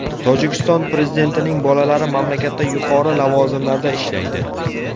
Tojikiston prezidentining bolalari mamlakatda yuqori lavozimlarda ishlaydi.